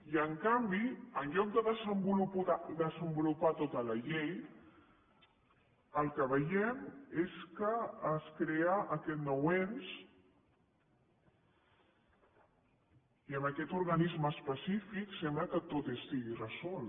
i en canvi en lloc de desenvolupar tota la llei el que veiem és que es crea aquest nou ens i amb aquest organisme específic sembla que tot estigui resolt